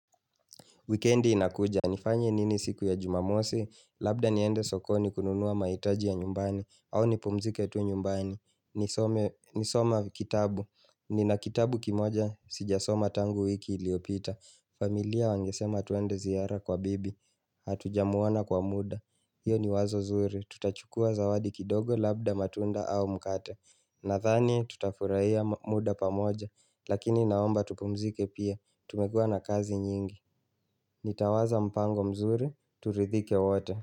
Weekendi inakuja, nifanye nini siku ya jumamosi, labda niende sokoni kununua mahitaji ya nyumbani, au nipumzike tu nyumbani. Nisome ni soma kitabu, nina kitabu kimoja sijasoma tangu wiki iliopita. Familia wangesema tuende ziara kwa bibi, hatuja mwona kwa muda. Iyo ni wazo zuri, tutachukua zawadi kidogo labda matunda au mkate. Nadhani tutafurahia muda pamoja, lakini naomba tupumzike pia, tumekua na kazi nyingi. Nitawaza mpango mzuri, turidhike wote.